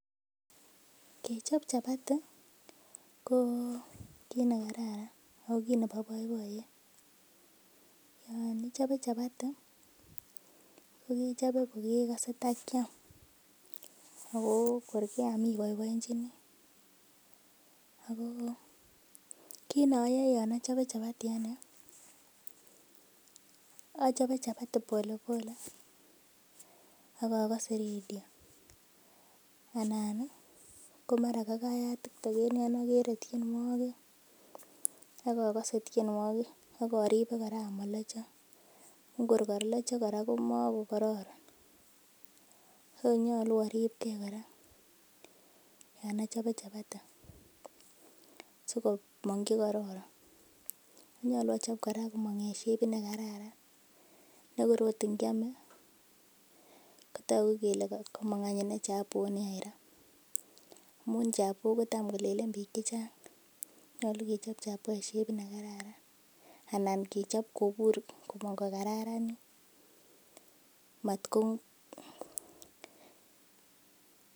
Kechop chabati ko kiit nekeraran ak ko kiit nebo boiboyet, yoon ichobe chabati ko kechobe ko kekose takiam ak ko kor keam iboeboenchini ak ko kiit noyoe yoon ochobe chabati anee achobe chabati pole pole ak okose radio anan ko mara kayat tiktok en yoon okere tienwokik ak akode tienwokik ak oribe kora amolocho, ko kor kora kolocho komo ko kororon, nyolu oribke kora yoon ochobe chabati sikomong chekororon, nyolu ochob kora komong en shebit nekararan nekor oot ingiome kotoku kelee komong any ineei chabo nii aira amun chabo kotam kolelen biik chechang nyolu kechob chabo nekararan anan kechob kobur komong ko kararanit matko.